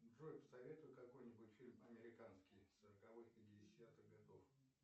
джой посоветуй какой нибудь фильм американский сороковых пятидесятых годов